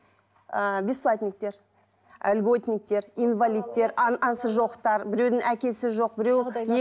ыыы бесплатниктер льготниктер инвалидтер анасы жоқтар біреудің әкесі жоқ біреуі